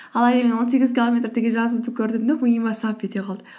он сегіз километр деген жазуды көрім де миыма сап ете қалды